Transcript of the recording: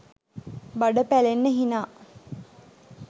බඩ පැලෙන්න හිනා